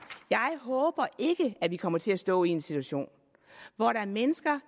jeg håber ikke at vi kommer til at stå i en situation hvor der er mennesker